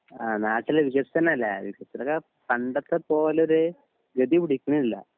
ആ നാട്ടിൽ വിശ്വസ്ഥനല്ലേ വിശ്വസ്ഥനൊക്കെ പണ്ടത്ത പോലൊരു ഗെതി പിടിക്ക്ണില്ല